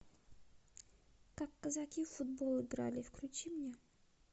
как казаки в футбол играли включи мне